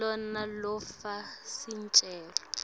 lona lofaka sicelo